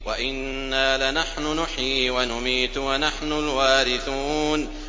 وَإِنَّا لَنَحْنُ نُحْيِي وَنُمِيتُ وَنَحْنُ الْوَارِثُونَ